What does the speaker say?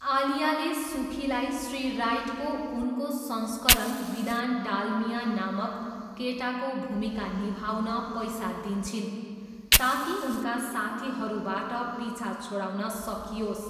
आलियाले सुखीलाई श्री राइटको उनको संस्करण विधान डालमिया नामक केटाको भूमिका निभाउन पैसा दिन्छिन्, ताकि उनका साथीहरूबाट पिछा छोडाउन सकियोस्।